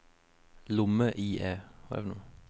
lomme-IE